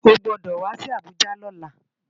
Ó gbòdò wá si Abuja lòlá